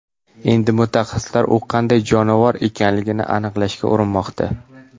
Endi mutaxassislar u qanday jonivor ekanligini aniqlashga urinmoqda.